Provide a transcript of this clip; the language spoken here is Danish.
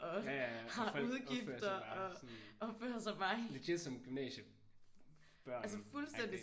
Ja ja og opfører sig bare sådan som legit som gymnasiebørn agtig